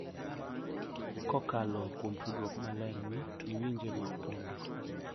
Kokalo kuom tudruok malerni, lwenje ma opondo